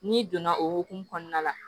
N'i donna o hokumu kɔnɔna la